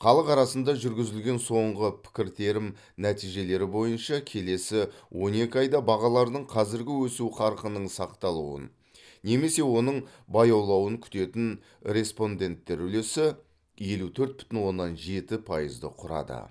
халық арасында жүргізілген соңғы пікіртерім нәтижелері бойынша келесі он екі айда бағалардың қазіргі өсу қарқынының сақталуын немесе оның баяулауын күтетін респонденттер үлесі елу төрт бүтін оннан жеті пайызды құрады